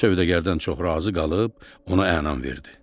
Sövdəgardən çox razı qalıb ona ənam verdi.